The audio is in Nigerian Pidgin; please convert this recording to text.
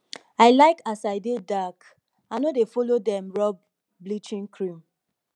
i like as i dey dark i no dey follow dem rob bleaching cream